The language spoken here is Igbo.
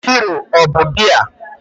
Hero ọ bụ biya?